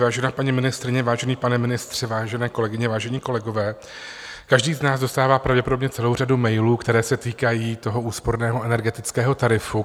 Vážená paní ministryně, vážený pane ministře, vážené kolegyně, vážení kolegové, každý z nás dostává pravděpodobně celou řadu mailů, které se týkají toho úsporného energetického tarifu.